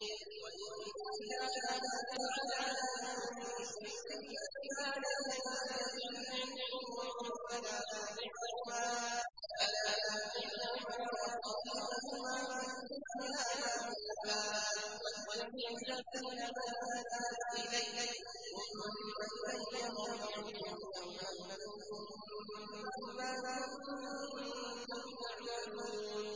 وَإِن جَاهَدَاكَ عَلَىٰ أَن تُشْرِكَ بِي مَا لَيْسَ لَكَ بِهِ عِلْمٌ فَلَا تُطِعْهُمَا ۖ وَصَاحِبْهُمَا فِي الدُّنْيَا مَعْرُوفًا ۖ وَاتَّبِعْ سَبِيلَ مَنْ أَنَابَ إِلَيَّ ۚ ثُمَّ إِلَيَّ مَرْجِعُكُمْ فَأُنَبِّئُكُم بِمَا كُنتُمْ تَعْمَلُونَ